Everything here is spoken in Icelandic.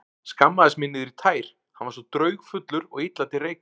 Skammaðist mín niður í tær, hann var svo draugfullur og illa til reika.